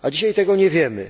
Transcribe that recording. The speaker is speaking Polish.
A dzisiaj tego nie wiemy.